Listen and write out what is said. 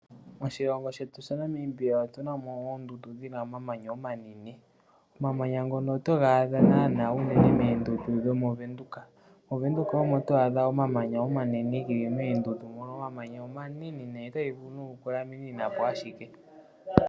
Moshilongo shetu Namibia otu na mo oondundu dhina omamanya omanene. Omamanya ngoka ohaga adhikwa unene moondundu dhomOvenduka. Omamanya ngaka omanene nayi, otaga vulu okukulaminina po.